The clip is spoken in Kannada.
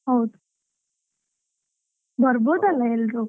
ಹೌದು. ಬರ್ಬೋದಲ್ಲಾ ಎಲ್ರೂ?